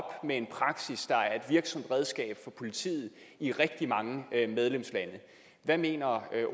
med en praksis der er et virksomt redskab for politiet i rigtig mange medlemslande hvad mener